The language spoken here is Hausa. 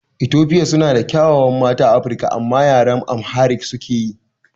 Etofia suna da ƙyawawan mata a Afirika amma yaren AmhariC suke yi